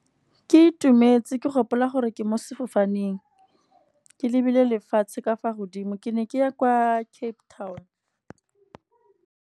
Ke itumetse ke gopola gore ke mo sefofaneng, ke lebile lefatshe ka fa godimo ke ne ke ya kwa Cape Town.